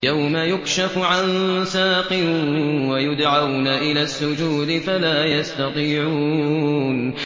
يَوْمَ يُكْشَفُ عَن سَاقٍ وَيُدْعَوْنَ إِلَى السُّجُودِ فَلَا يَسْتَطِيعُونَ